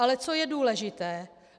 Ale co je důležité.